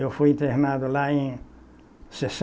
Eu fui internado lá em